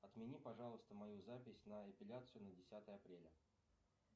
отмени пожалуйста мою запись на эпиляцию на десятое апреля